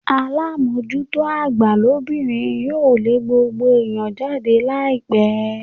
Alamojuto agba lobinrin yoo le gbogbo eniyan jade laipe